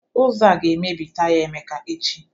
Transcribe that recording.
Ụzọ a ga-emebi taya Emeka echi